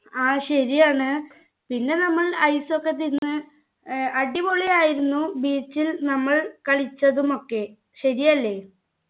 ആ ശരിയാണ് പിന്നെ നമ്മൾ ice ഒക്കെ തിന്ന് ഏർ അടിപൊളിയായിരുന്നു beach ൽ നമ്മൾ കളിച്ചതുമൊക്കെ ശരിയല്ലേ